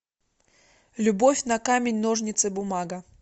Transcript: любовь на камень ножницы бумага